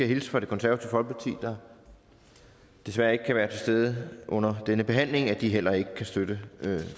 hilse fra det konservative folkeparti der desværre ikke kan være til stede under denne behandling at de heller ikke kan støtte